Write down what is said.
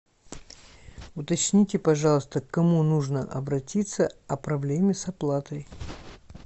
уточните пожалуйста к кому нужно обратиться о проблеме с оплатой